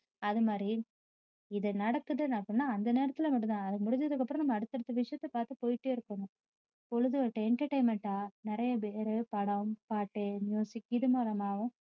அது மாதிரி இது நடக்குதுன்னு சொன்னா அந்த நேரத்துலே மட்டும் தான் அது முடிஞ்சதுக்கு அப்பறம் அடுத்தடுத்த விஷயத்த பார்த்துட்டு போயிட்டே இருப்போம் பொழுது entertainment ஆ நிறைய பேரு படம், பாட்டு இது மூலமாகவும்